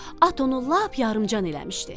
At onu lap yarımcan eləmişdi.